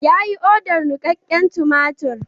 Yayi odar nikakken tumatir.